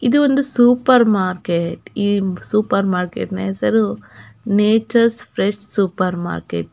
ಇದೊಂದು supermarket ಈ supermarket ನ ಹೆಸರು ನೇಚರ್ಸ ಫ್ರೆಶ್ ಸೂಪರ್ ಮಾರ್ಕೆಟ್ .